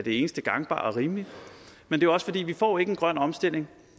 eneste gangbare og rimelige men også fordi vi ikke får en grøn omstilling